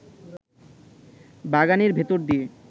বাগানের ভেতর দিয়ে